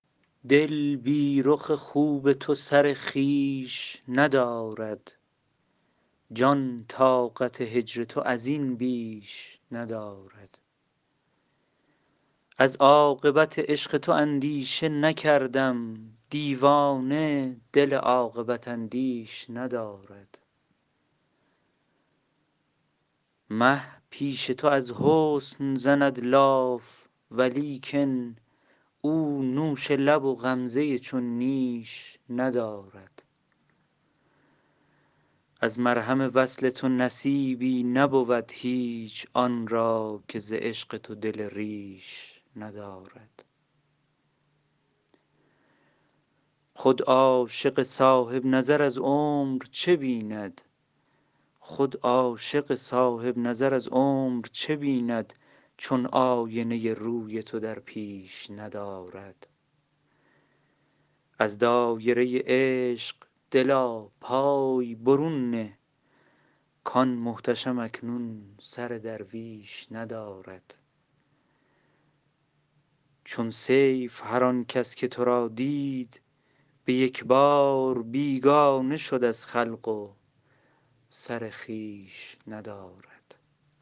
دل بی رخ خوب تو سر خویش ندارد جان طاقت هجرتو ازین بیش ندارد از عاقبت عشق تو اندیشه نکردم دیوانه دل عاقبت اندیش ندارد مه پیش تو ازحسن زند لاف ولیکن او نوش لب و غمزه چون نیش ندارد از مرهم وصل تو نصیبی نبود هیچ آن را که زعشق تو دل ریش ندارد خود عاشق صاحب نظر از عمر چه بیند چون آینه روی تو در پیش ندارد از دایره عشق دلا پای برون نه کآن محتشم اکنون سر درویش ندارد چون سیف هر آنکس که ترا دید به یکبار بیگانه شد از خلق و سر خویش ندارد